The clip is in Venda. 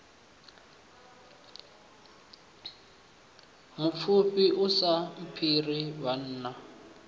mupfufhi u si mphire vhanna